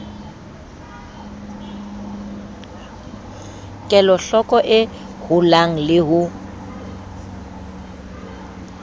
kelohloko e holang le ho